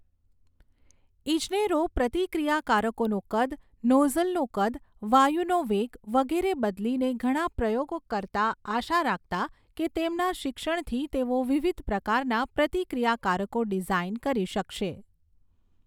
ઇજનેરો પ્રતિક્રિયાકારકોનું કદ, નોઝલનું કદ, વાયુનો વેગ વગેરે બદલીને ઘણા પ્રયોગો કરતા, આશા રાખતા કે તેમના શિક્ષણથી તેઓ વિવિધ પ્રકારના પ્રતિક્રિયાકારકો ડિઝાઇન કરી શકશે.